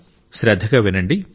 శ్రద్ధగా వినండి